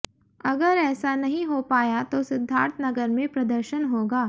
अगर ऐसा नहीं हो पाया तो सिद्धार्थनगर में प्रदर्शन होगा